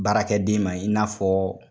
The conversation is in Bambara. Baarakɛden ma i n'a fɔ